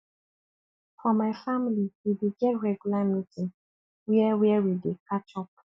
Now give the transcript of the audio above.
for my family we dey get regular meeting where where we dey catch up